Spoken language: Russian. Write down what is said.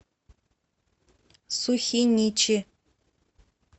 сухиничи